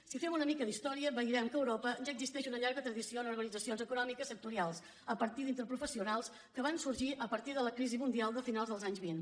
si fem una mica d’història veurem que a europa ja existeix una llarga tradició en organitzacions econòmiques sectorials a partir d’interprofessionals que van sorgir a partir de la crisi mundial de finals dels anys vint